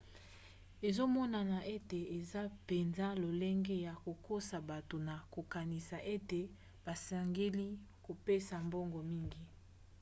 ezomonana ete eza mpenza lolenge ya kokosa bato na kokanisa ete basengeli kopesa mbongo mingi